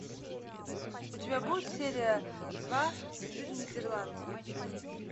у тебя будет серия два стыд нидерланды